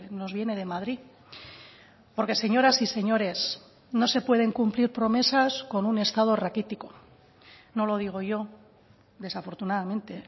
nos viene de madrid porque señoras y señores no se pueden cumplir promesas con un estado raquítico no lo digo yo desafortunadamente